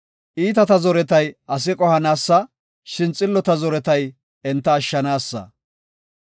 Iitata zoretay asa qohanaasa; shin xillota zoretay enta ashshanaasa.